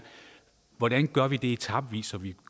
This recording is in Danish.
hvordan gør vi det etapevis så vi